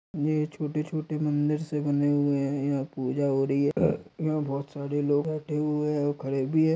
ये छोटे छोटे मंदिर से बने हुए है यहाँ पूजा हो रही है अ यहाँ बहुत सारी लोग बैठे हुए और खडे भी है।